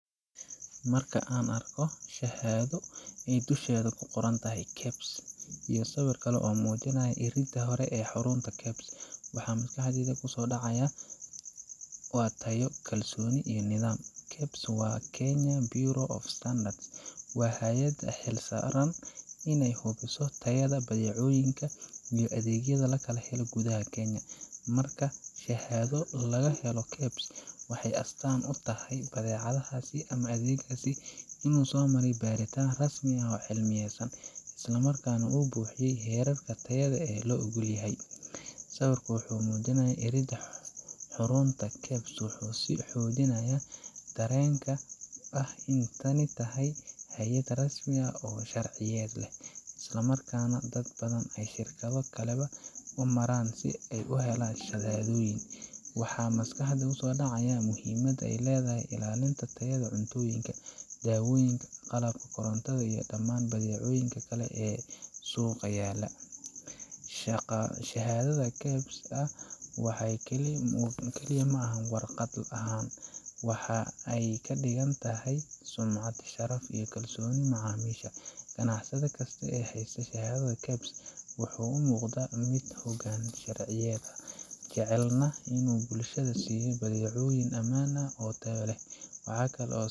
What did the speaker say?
Marka aan arko shahaado ay dusheeda ku qoran tahay KEBS iyo sawir kale oo muujinaya iridda hore ee xarunta KEBS, waxa maskaxdayda markiiba ku soo dhaca waa tayo, kalsooni iyo nidaam. KEBS, oo ah Kenya Bureau of Standards, waa hay’adda u xil saaran in ay hubiso tayada badeecooyinka iyo adeegyada laga helo gudaha Kenya. Marka shahaado laga helo KEBS, waxay astaan u tahay in badeecadaas ama adeeggaas uu maray baaritaan rasmi ah oo cilmiyaysan, isla markaana uu buuxiyay heerarka tayada ee la oggol yahay. Sawirka muujinaya iridda xarunta KEBS wuxuu sii xoojinayaa dareenka ah in tani tahay hay’ad rasmi ah, oo sharciyad leh, islamarkaana dad badan iyo shirkado kaleba u maraan si ay u helaan shahaadooyin. Waxaa maskaxda ku soo dhaca muhiimadda ay leedahay ilaalinta tayada cuntooyinka, daawooyinka, qalabka korontada iyo dhammaan badeecooyinka kale ee suuqa yaalla. Shahaadada KEBS ma aha kaliya waraaq la hanto waxa ay ka dhigan tahay sumcad, sharaf iyo kalsooni macaamiisha. Ganacsade kasta oo haysta shahaado KEBS ah, wuxuu u muuqdaa mid u hoggaansan sharciyada, jecelna inuu bulshada siiyo badeecooyin ammaan ah oo tayo leh. Waxa kale oo